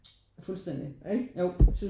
Fuldstænding jo